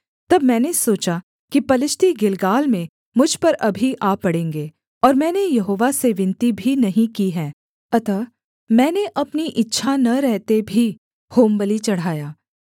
तब मैंने सोचा कि पलिश्ती गिलगाल में मुझ पर अभी आ पड़ेंगे और मैंने यहोवा से विनती भी नहीं की है अतः मैंने अपनी इच्छा न रहते भी होमबलि चढ़ाया